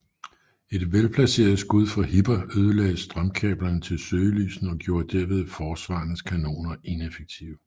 Et velplaceret skud fra Hipper ødelagde strømkablerne til søgelysene og gjorde derved forsvarernes kanoner ineffektive